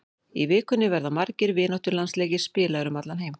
Í vikunni verða margir vináttulandsleikir spilaðir um allan heim.